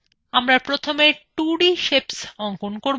আমরা প্রথমে 2d shapes অঙ্কন করব